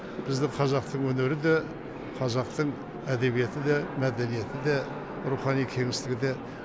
бізді қазақтың өнері де қазақтың әдебиеті де мәдениеті де рухани кемістігі де